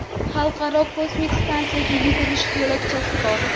Xalqaro kosmik stansiyada yugurish yo‘lakchasi bor.